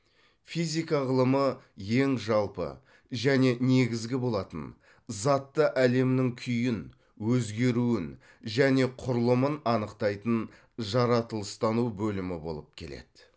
физика ғылымы ең жалпы және негізгі болатын затты әлемнің күйін өзгеруін және құрылымын анықтайтын жаратылыстану бөлімі болып келеді